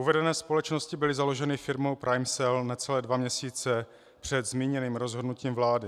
Uvedené společnosti byly založeny firmou PrimeCell necelé dva měsíce před zmíněným rozhodnutím vlády.